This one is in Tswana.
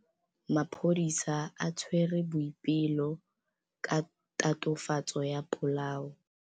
Maphodisa a tshwere Boipelo ka tatofatsô ya polaô.